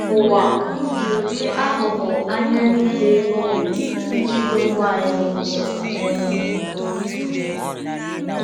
Ụwa ji ụdị aghụghọ ahịa niile o nwere iji dọpụ anyị n’ụzọ. um